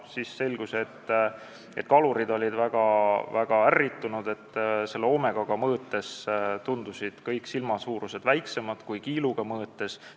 Siis selgus, et kalurid olid väga ärritunud, sest Omegaga mõõtes tundusid kõik silmad väiksemad kui kiiluga mõõtes.